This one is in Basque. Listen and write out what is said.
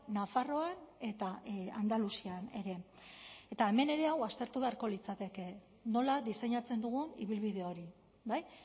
nafarroan eta andaluzian ere eta hemen ere hau aztertu beharko litzateke nola diseinatzen dugun ibilbide hori bai